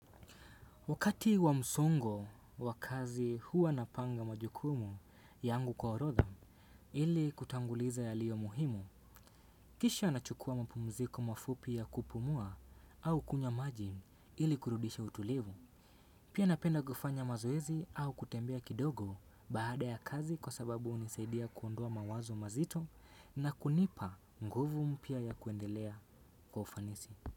Wakati wa msongo wa kazi huwa napanga majukumu yangu kwa orodha ili kutanguliza yalio muhimu kisha nachukua mapumziko mafupi ya kupumua au kunywa maji ili kurudisha utulivu. Pia napenda kufanya mazoezi au kutembea kidogo bahada ya kazi kwa sababu unisaidia kuondoa mawazo mazito na kunipa nguvu mpya ya kuendelea kwa ufanisi.